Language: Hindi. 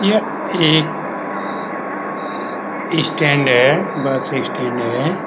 यह एक स्टैंड है बस स्टैंड है।